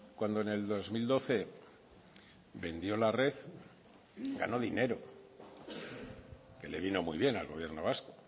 cuando en el dos mil doce vendió la red ganó dinero que le vino muy bien al gobierno vasco